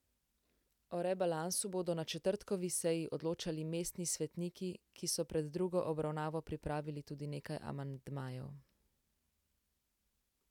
O rebalansu bodo na četrtkovi seji odločali mestni svetniki, ki so pred drugo obravnavo pripravili tudi nekaj amandmajev.